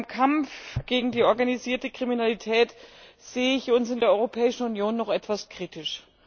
Beim Kampf gegen die organisierte Kriminalität sehe ich uns in der Europäischen Union noch etwas kritisch.